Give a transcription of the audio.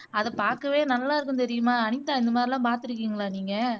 அதை பாக்கவே நல்லா இருக்கும் தெரியுமா அனிதா இந்தமாதிரியெல்லாம் பாத்திருக்கீங்களா நீங்க